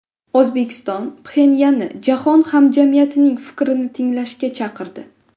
O‘zbekiston Pxenyanni jahon hamjamiyatining fikrini tinglashga chaqirdi .